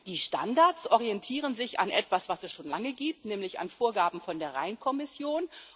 Die Standards orientieren sich an etwas, was es schon lange gibt, nämlich an Vorgaben der Rheinkommission.